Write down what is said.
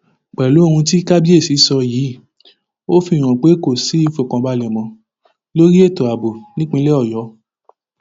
pẹlú ohun tí kábíìsì sọ yìí ó fi hàn pé kò sí ìfọkànbalẹ mọ lórí ètò ààbò nípínlẹ ọyọ